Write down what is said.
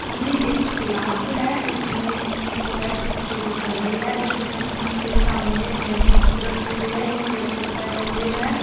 ये एक क्लास है इसमें स्टूडेंट स्टडी कर रहे हैं स्टूडेंट के सामने ए बुक्स रखी हुईं है ये चेयर्स पे बैठे हुए हैं।